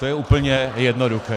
To je úplně jednoduché.